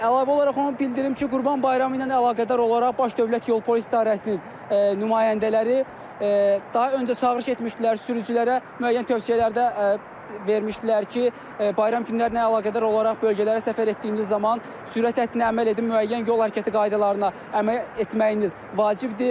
Əlavə olaraq onu bildirim ki, Qurban Bayramı ilə əlaqədar olaraq Baş Dövlət Yol Polisi İdarəsinin nümayəndələri daha öncə çağırış etmişdilər sürücülərə müəyyən tövsiyələrdə vermişdilər ki, bayram günlərinə əlaqədar olaraq bölgələrə səfər etdiyiniz zaman sürət həddinə əməl edin, müəyyən yol hərəkəti qaydalarına əməl etməyiniz vacibdir.